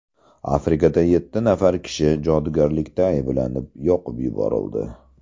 Afrikada yetti nafar kishi jodugarlikda ayblanib, yoqib yuborildi.